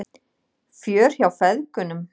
Fjör hjá feðgunum